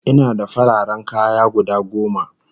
Ina da fararen kaya guda goma